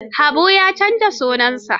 Habu ya canza sunansa.